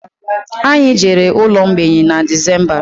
Anyị jere ụlọ mgbei na Decemba